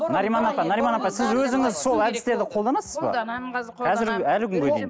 нариман апа нариман апа сіз өзіңіз сол әдістерді қолданасыз ба қолданамын қазір әлі күнге дейін